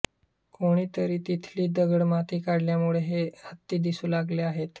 कोणीतरी तिथली दगडमाती काढल्यामुळे हे हत्ती दिसू लागले आहेत